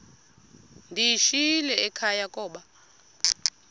ndiyishiyile ekhaya koba